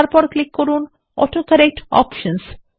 তারপর এ ক্লিক করুন অটোকরেক্ট অপশনস